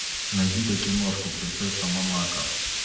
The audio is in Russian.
найди ка киношку принцесса монако